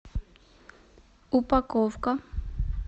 упаковка